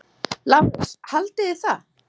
LÁRUS: Haldið þið það?